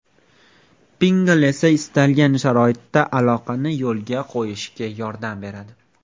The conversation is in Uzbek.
Pinngle esa istalgan sharoitda aloqani yo‘lga qo‘yishga yordam beradi!